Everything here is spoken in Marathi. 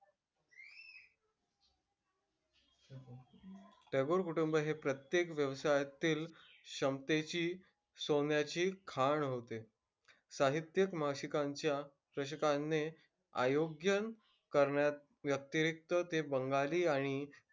टागोर कुटुंब हे प्रत्येक व्यवसायातील क्षमतेची सोन्याची खाण होते. साहित्यिक मासिकांच्या प्रशकाने आयोजन करण्याव्यतिरिक्त ते बंगाली आणि,